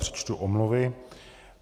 Přečtu omluvy.